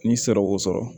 N'i sera k'o sɔrɔ